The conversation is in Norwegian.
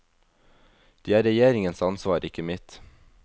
De er regjeringens ansvar, ikke mitt.